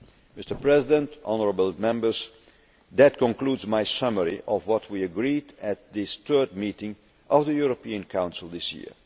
be best. Mr President, honourable Members, that concludes my summary of what we agreed at this, the third meeting of the European Council